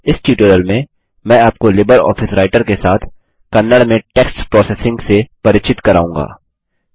इस ट्यूटोरियल में मैं आपको लिबर ऑफिस राइटर के साथ कन्नड़ में टेक्स्ट प्रोसेसिंग प्रसंस्करण से परिचित कराऊँगा